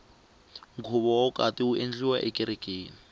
nkhuvo wa vukati wu endleriwa ekerekeni